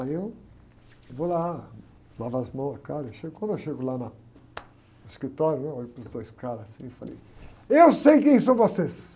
Aí eu vou lá, lavo as mãos, a cara, aí chego, quando eu chego lá na, no escritório, né? Eu olho para os dois caras, assim, e falei, eu sei quem são vocês.